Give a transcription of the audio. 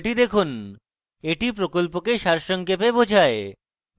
এটি প্রকল্পকে সারসংক্ষেপে বোঝায়